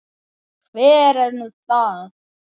Hver er nú það?